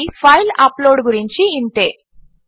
ఇప్పటికి file upload గురించి ఇంతే